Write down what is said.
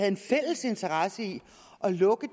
en fælles interesse i at lukke